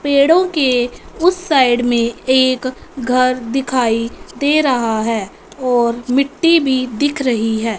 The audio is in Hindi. पेड़ों के उस साइड में एक घर दिखाई दे रहा है और मिट्टी भी दिख रही है।